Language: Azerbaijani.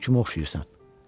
Gör kimə oxşayırsan.